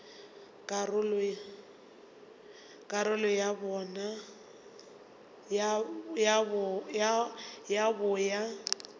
ka karolo ya bo ya